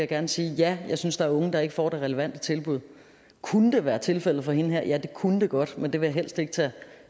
gerne sige ja jeg synes at der er unge der ikke får det relevante tilbud kunne det være tilfældet for hende her ja det kunne det godt men det vil jeg helst ikke tage